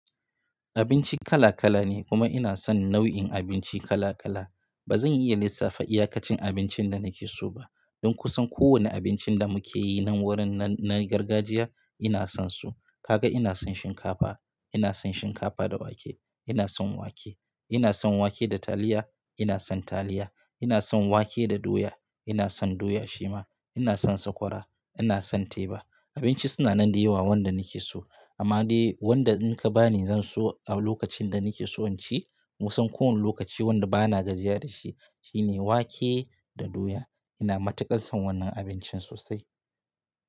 Abinci kala kala ne kuma ina son nau'in abinci kala kala. Ba zan iya lissafa iyakacin abincin da nake so ba. Dan kusan kowanne abincin da muke yi nan gurin na, na gargajiya ina son su. Kaga ina son shinkafa, ina son shinkafa da wake, ina son wake, ina son wake da taliya, ina son taliya, ina son wake da doya, ina son doya shima, ina son sakwara, ina son teba. Abinci suna nan da yawa wanda nake so amma dai wanda in ka bani zan so a lokacin da nake so in ci, kusan kowanne lokaci wanda ba na gajiya da shi, shine wake da doya. Ina matuƙar son wannan abincin sosai.